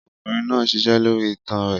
Ọkùnrin náà ń ṣiṣẹ́ lórí itan rẹ̀.